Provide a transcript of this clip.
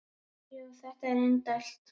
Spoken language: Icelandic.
Jú, þetta er indælt